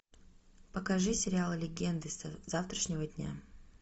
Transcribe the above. покажи сериал легенды завтрашнего дня